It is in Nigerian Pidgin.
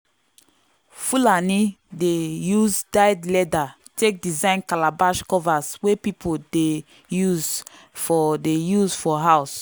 fulani dey use dyed leather take design calabash covers wey people dey use for dey use for house.